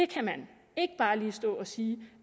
kan stå og sige